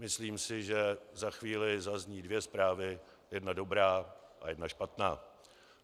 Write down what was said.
Myslím si, že za chvíli zazní dvě zprávy - jedna dobrá a jedna špatná.